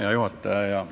Hea juhataja!